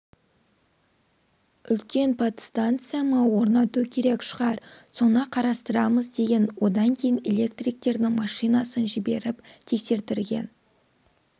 үлкен подстанция ма орнату керек шығар соны қарастырамыз деген одан кейін электриктердің машинасын жіберіп тексертірген